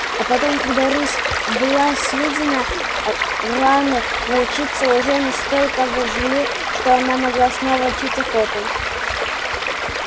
а потом когда рысь была съедена раны волчицы уже настолько зажили что она могла снова начать охоту